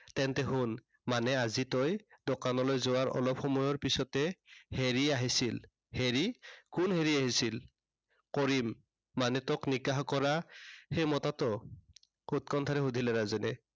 তেন্তে শুন। মানে তই আজি দোকানলৈ যোৱাৰ অলপ সময়ৰ পিছতে হেৰি আহিছিল। হেৰি, কোন হেৰি আহিছিল? কৰিম। মানে তোক নিকাহ কৰা সেই মতাটো? উৎকণ্ঠাৰে সুধিলে ৰাজেনে।